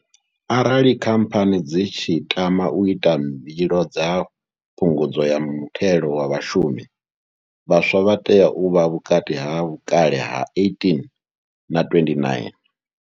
Arali khamphani dzi tshi tama u ita mbilo dza phungudzo ya muthelo wa vhashumi, vhaswa vha tea u vha vhukati ha vhukale ha 18 na 29.